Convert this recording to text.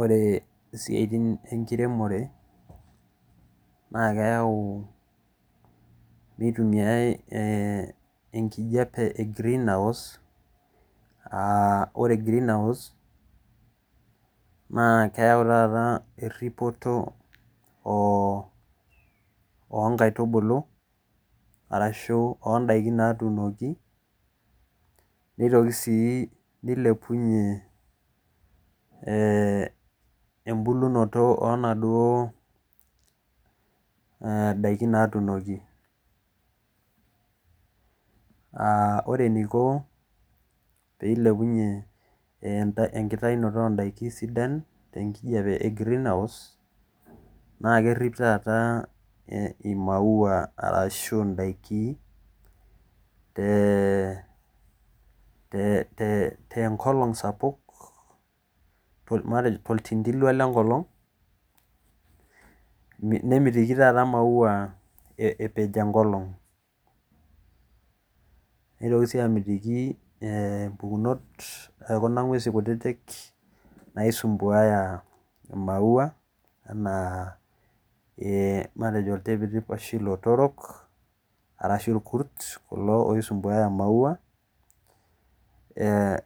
Ore isiaitin enkeremore naa kayau mitumiyae enkijape e greenhouse ore greenhouse naa keyau taa eripoto oo nkaitubulu aashu oo ndaiki naatunaki neitoki sii neilepunyie embulunot oo naduo daiki naatunoki ore enaiko pee eilepuyuie umbulunot oo ndaiki naathnoki te greenhouse naa kerip taata emaua arashu indaiki te nkolong arashu oltintilua le nkolong' nemitiki sii emaua eere enkolong mpukunot oo ng'uesi kutitik naisumbuaya maua anaa iltipitip arashu ilotorok arashu ilkurt kulo oisumbuaya maua